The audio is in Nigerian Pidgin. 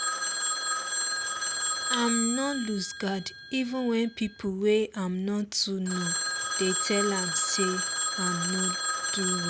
im nor lose guard even wen pipo wey im not too know dey tell am say im nor do well